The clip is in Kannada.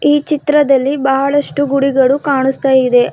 ಈ ಚಿತ್ರದಲ್ಲಿ ಬಹಳಷ್ಟು ಗುಡಿಗಳು ಕಾಣಿಸ್ತಾ ಇದೆ.